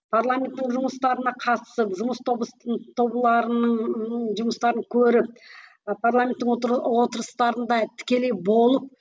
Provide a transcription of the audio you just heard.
парламенттің жұмыстарына қатысып жұмыс жұмыстарын көріп ы парламенттің отырыстарында тікелей болып